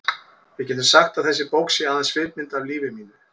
Við getum sagt að þessi bók sé aðeins svipmynd af lífi mínu.